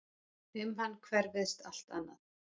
Um hann hverfist allt annað.